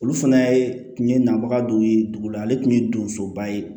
Olu fana ye tun ye nabaga dɔ ye dugu la ale tun ye donsoba ye